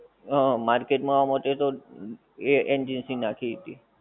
હ market માં આમાં જોઈએ તો એ agency નાખી હતી